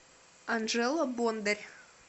анжела бондарь